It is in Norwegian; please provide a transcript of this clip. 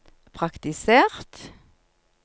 praktisert